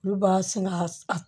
Olu b'a sɛnɛ a